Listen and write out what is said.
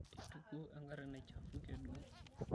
Eitukuo engari naichafuke duo.